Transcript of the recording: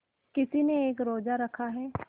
किसी ने एक रोज़ा रखा है